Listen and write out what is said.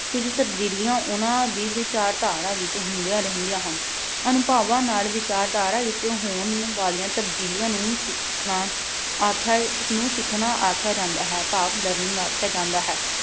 ਕੁਝ ਤਬਦੀਲੀਆਂ ਉਨ੍ਹਾਂ ਦੀ ਵਿਚਾਰਧਾਰਾ ਵਿੱਚ ਹੁੰਦੀਆਂ ਰਹਿੰਦੀਆਂ ਹਨ। ਅਨੁਭਵਾਂ ਨਾਲ ਵਿਚਾਰਧਾਰਾ ਵਿੱਚ ਹੋਣ ਵਾਲੀਆਂ ਤਬਦੀਲੀਆਂ ਨੂੰ ਸਿੱਖ ਅਹ ਣਾ ਆਖਿਆ, ਨੂੰ ਸਿੱਖਣਾ ਆਖਿਆ ਜਾਂਦਾ ਹੈ ਭਾਵ learning ਆਖਿਆ ਜਾਂਦਾ ਹੈ।